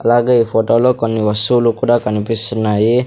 అలాగే ఈ ఫొటో లో కొన్ని వస్తువులు కూడా కనిపిస్తున్నాయి.